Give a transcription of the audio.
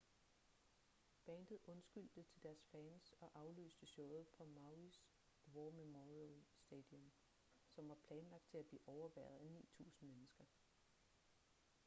bandet undskyldte til deres fans og aflyste showet på mauis war memorial stadium som var planlagt til at blive overværet af 9.000 mennesker